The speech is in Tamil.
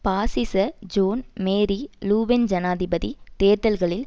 பாசிச ஜோன் மேரி லூபென் ஜனாதிபதி தேர்தல்களில்